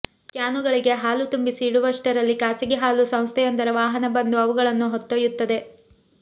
ಕ್ಯಾನುಗಳಿಗೆ ಹಾಲು ತುಂಬಿಸಿ ಇಡುವಷ್ಟರಲ್ಲಿ ಖಾಸಗಿ ಹಾಲು ಸಂಸ್ಥೆಯೊಂದರ ವಾಹನ ಬಂದು ಅವುಗಳನ್ನು ಹೊತ್ತೊಯ್ಯುತ್ತದೆ